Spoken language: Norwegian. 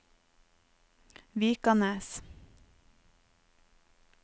Vikanes